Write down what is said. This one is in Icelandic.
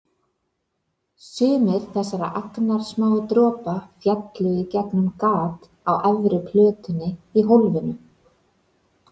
Sumir þessara agnarsmáu dropa féllu í gegnum gat á efri plötunni í hólfinu.